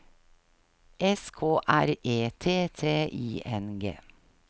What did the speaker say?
S K R E T T I N G